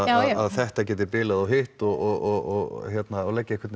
þetta geti bilað og hitt og leggja